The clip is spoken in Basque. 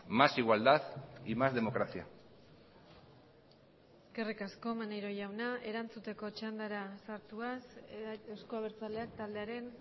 más igualdad y más democracia eskerrik asko maneiro jauna erantzuteko txandara sartuaz euzko abertzaleak taldearen